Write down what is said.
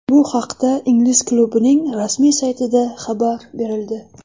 Bu haqda ingliz klubining rasmiy saytida xabar berildi .